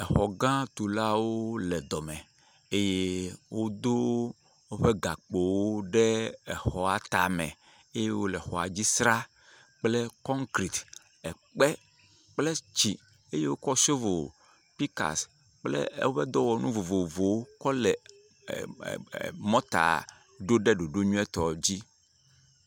Xɔ gã tulawo le dɔme eye wodo woƒe gakpowo ɖe exɔ tame eye wole exɔa dzi sraa kple konkerete, ekpe kple tsi eye wokɔ shovel, pickaxe kple ewoƒe dɔwɔnu vovovowo kɔle e.e.e.e.e.e.e. mɔta ɖo ɖe ɖoɖo nyuietɔ dzi.